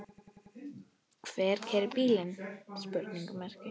Hver keyrir bílinn?